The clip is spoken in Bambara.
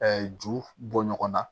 ju bɔ ɲɔgɔn na